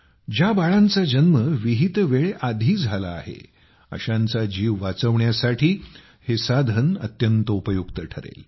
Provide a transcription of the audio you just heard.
ज्या बाळांचा जन्म विहित वेळेआधी झाला आहे अशांचा जीव वाचविण्यासाठी हे साधन अत्यंत उपयुक्त ठरेल